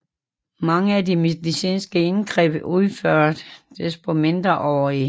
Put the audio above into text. Mange af de medicinske indgreb udførtes på mindreårige